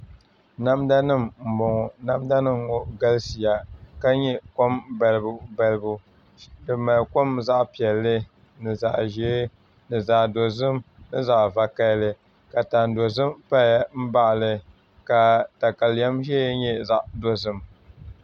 Namda nim n bɔŋɔ namda nim ŋɔ galisiya ka nyɛ kom balibu balibu di mali kom zaɣ piɛlli ni zaɣ ʒiɛ ni zaɣ dozim ni zaɣ vakaɣili ka tani dozim paya n baɣali ka katalɛm doya nyɛ zaɣ dozim